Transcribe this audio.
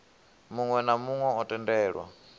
muwe na muwe o tendelwa